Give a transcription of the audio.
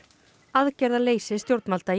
aðgerðarleysi stjórnvalda